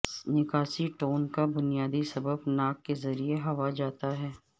نکاسی ٹون کا بنیادی سبب ناک کے ذریعے ہوا جاتا ہے